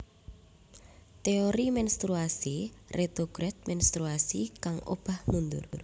Teori menstruasi retrograd menstruasi kang obah mundur